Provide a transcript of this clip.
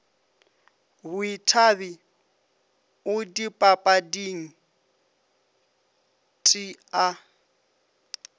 boithabi o dipapading t a